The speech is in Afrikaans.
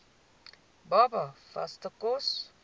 baba vaste kos